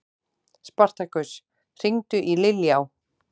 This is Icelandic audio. Spartakus, hringdu í Liljá.